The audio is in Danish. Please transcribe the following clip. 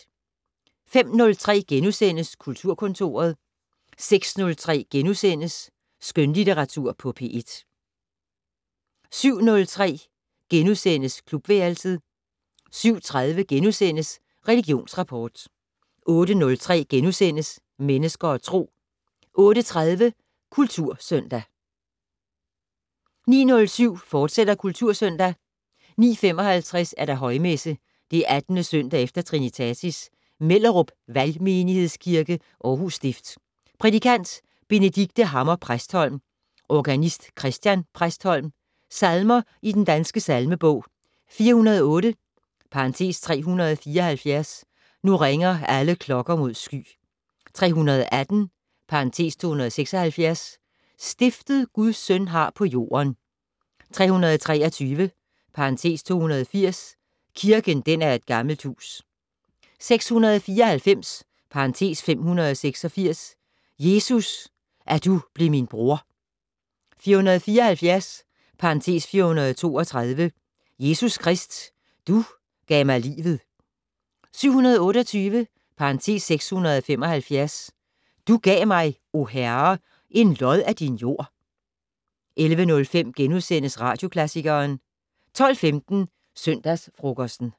05:03: Kulturkontoret * 06:03: Skønlitteratur på P1 * 07:03: Klubværelset * 07:30: Religionsrapport * 08:03: Mennesker og Tro * 08:30: Kultursøndag 09:07: Kultursøndag, fortsat 09:55: Højmesse - 18. søndag efter trinitatis. Mellerup Valgmenighedskirke, Aarhus stift. Prædikant: Benedicte Hammer Præstholm. Organist: Christian Præstholm. Salmer i Den Danske Salmebog: 408 (374) "Nu ringer alle klokker mod sky". 318 (276) "Stiftet Guds søn har på jorden". 323 (280) "Kirken den er et gammelt hus". 694 (586) "Jesus, at du blev min broder". 474 (432) "Jesus Krist, du gav mkig livet". 728 (675) "Du gav mig, o Herre, en lod af din jord". 11:05: Radioklassikeren * 12:15: Søndagsfrokosten